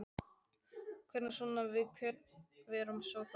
Hvernig svona, hvað erum við að fara sjá þar?